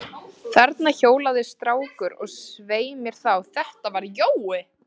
Þarna hjólaði strákur, og svei mér þá, þetta var Jói.